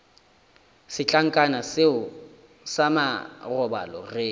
setlankana seo sa marobalo re